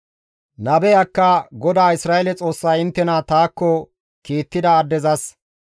Nabeyakka, «GODAA Isra7eele Xoossay inttena taakko kiittida addezas,